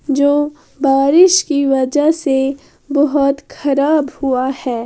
जो बारिश की वजह से बहोत खराब हुआ हैं।